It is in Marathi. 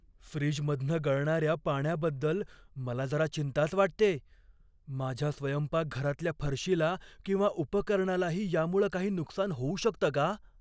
फ्रीजमधनं गळणाऱ्या पाण्याबद्दल मला जरा चिंताच वाटतेय, माझ्या स्वयंपाकघरातल्या फरशीला किंवा उपकरणालाही यामुळं काही नुकसान होऊ शकतं का?